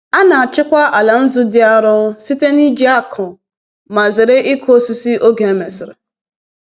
A na-achịkwa ala nzu dị arọ site n’iji ákụ ma zere ịkụ osisi oge e mesịrị.